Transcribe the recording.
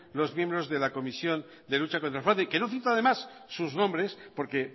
los miembros de la comisión de lucha contra el fraude que no cito además sus nombres porque